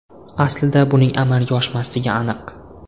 Aslida buning amalga oshmasligi aniq.